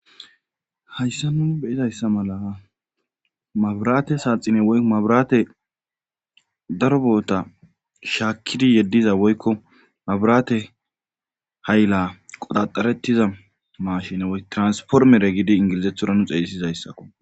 hayssa nu beyizayssa mala mabiraate saaxine woykko mabiraate daroboota shaakkidi yeddiza woykko mabraate hayla qodaxarettiza mashine transformere giidi ingilizethora nu xeeyisizayssakko